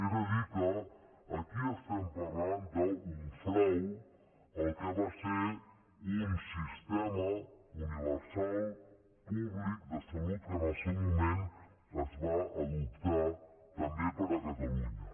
és a dir que aquí estem parlant d’un frau al que va ser un sistema universal públic de salut que en el seu moment es va adoptar també per a catalunya